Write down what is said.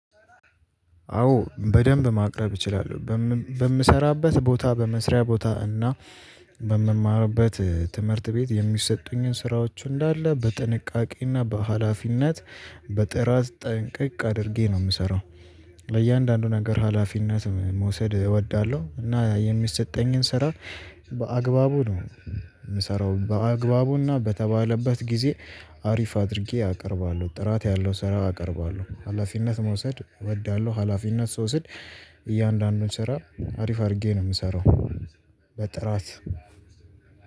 አዎ በደንብ ማቅረብ እችላለሁ በምሰራበት ቦታ በመስሪያ ቦታ እና በምማርበት ትምህርት ቤት የሚሰጡኝን ስራዎች እንዳለ በጥንቃቄና በሃላፊነት በጥራት ጠንቅቅ አድርጌ ነው የምሰራው። ለእያንዳንዱ ነገር ሀላፊነት መውሰድ እወዳለሁ እና የሚሰጠኝን ስራ በአግባቡ ነው የምሰራው በአግባቡና በተባለበት ጊዜ። አሪፍ አድርጌ አቀርባለሁ ጥራት ያለው ስራ አቀርባለሁ ሀላፊነት መውሰድ እወዳለሁ ሀላፊነት ስወስድ። እያንዳንዱን ስራ አሪፍ አድርጌ ነው የምሰራው። በጥራት